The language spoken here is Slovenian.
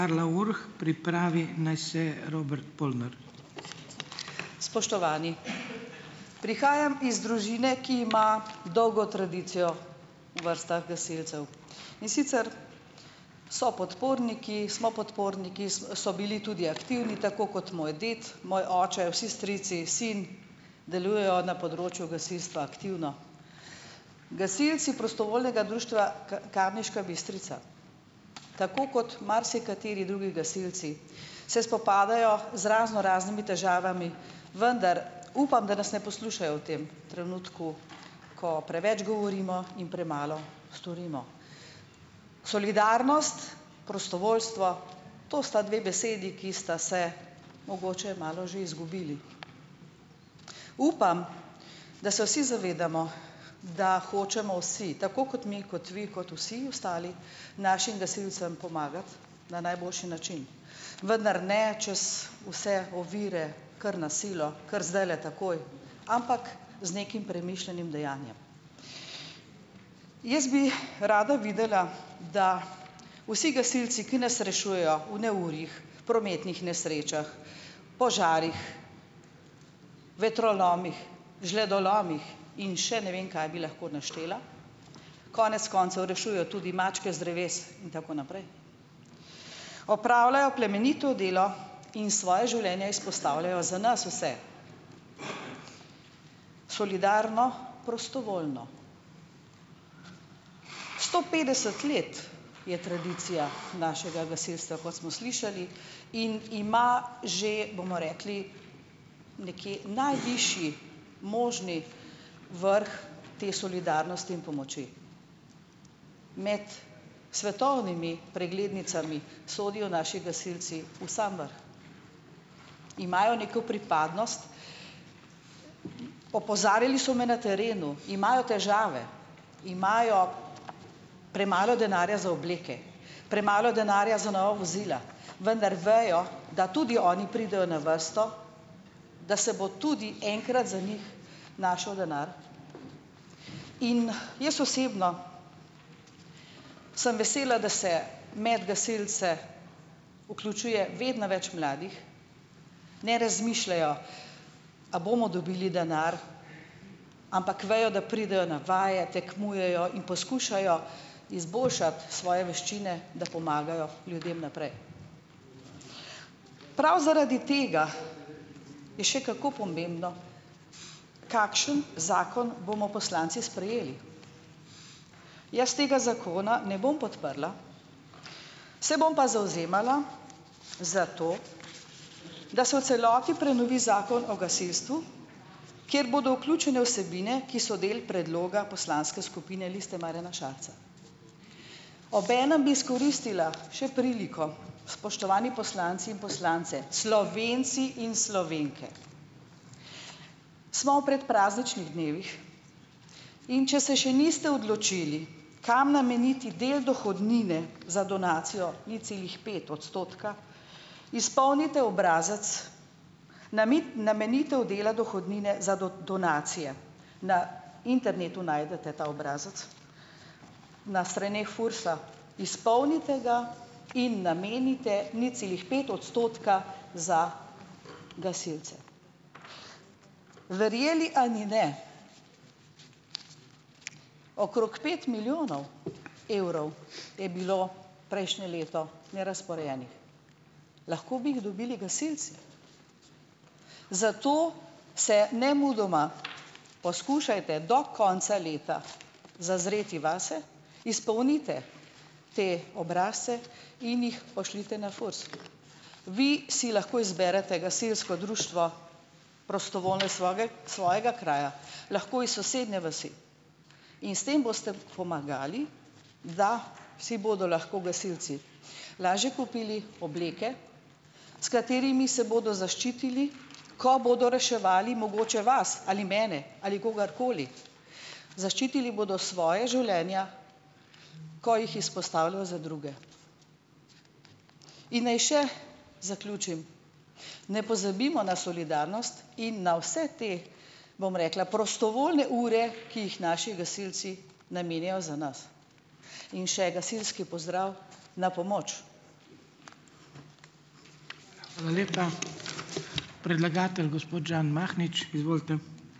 Spoštovani! Prihajam iz družine, ki ima dolgo tradicijo v vrstah gasilcev. In sicer so podporniki, smo podporniki, so bili tudi aktivni tako kot moj ded, moj oče, vsi strici, sin delujejo na področju gasilstva aktivno. Gasilci Prostovoljnega društva Kamniška Bistrica. Tako kot marsikateri drugi gasilci se spopadajo z raznoraznimi težavami, vendar upam, da nas ne poslušajo v tem trenutku, ko preveč govorimo in premalo storimo. Solidarnost, prostovoljstvo to sta dve besedi, ki sta se mogoče malo že izgubili. Upam, da se vsi zavedamo, da hočemo vsi, tako kot mi, kot vi, kot vsi ostali našim gasilcem pomagati na najboljši način. Vendar ne čez vse ovire kar na silo, kar zdajle takoj. Ampak z nekim premišljenim dejanjem. Jaz bi rada videla, da vsi gasilci, ki nas rešujejo v neurjih, prometnih nesrečah, požarih, vetrolomih, žledolomih in še ne vem, kaj bi lahko naštela, konec koncev rešujejo tudi mačke z dreves in tako naprej. Opravljajo plemenito delo in svoja življenja izpostavljajo za nas vse. Solidarno, prostovoljno. Sto petdeset let je tradicija našega gasilstva, kot smo slišali, in ima že, bomo rekli, nekje najvišji možni vrh te solidarnosti in pomoči. Med svetovnimi preglednicami sodijo naši gasilci v sam vrh. Imajo neko pripadnost. Opozarjali so me na terenu. Imajo težave. Imajo premalo denarja za obleke. Premalo denarja za nova vozila. Vendar vejo, da tudi oni pridejo na vrsto. Da se bo tudi enkrat za njih našel denar. In jaz osebno sem vesela, da se med gasilci vključuje vedno več mladih. Ne razmišljajo: A bomo dobili denar? Ampak vejo, da pridejo na vaje, tekmujejo in poskušajo izboljšati svoje veščine, da pomagajo ljudem naprej. Prav zaradi tega je še kako pomembno, kakšen zakon bomo poslanci sprejeli. Jaz tega zakona ne bom podprla, se bom pa zavzemala za to, da se v celoti prenovi Zakon o gasilstvu, kjer bodo vključene vsebine, ki so del predloga poslanske skupine Liste Marjana Šarca. Obenem bi izkoristila še priliko, spoštovani poslanci in poslanke, Slovenci in Slovenke! Smo v predprazničnih dnevih, in če se še niste odločili, kam nameniti del dohodnine za donacijo nič celih pet odstotka, izpolnite obrazec namenitev dela dohodnine za donacije. Na internetu najdete ta obrazec. Na straneh FURS-a. Izpolnite ga in namenite nič celih pet odstotka za gasilce. Verjeli ali ne, okrog pet milijonov evrov je bilo prejšnje leto nerazporejenih. Lahko bi jih dobili gasilci. Zato se nemudoma poskušajte do konca leta zazreti vase, izpolnite te obrazce in jih pošljite na FURS. Vi si lahko izberete gasilsko društvo prostovoljno, svojega kraja. Lahko iz sosednje vasi. In s tem boste pomagali, da si bodo lahko gasilci lažje kupili obleke, s katerimi se bodo zaščitili, ko bodo reševali mogoče vas ali mene ali kogarkoli, zaščitili bodo svoja življenja, ko jih izpostavljajo za druge. In naj še zaključim, ne pozabimo na solidarnost in na vse te, bom rekla, prostovoljne ure, ki jih naši gasilci namenjajo za nas. In še, gasilski pozdrav: "Na pomoč!"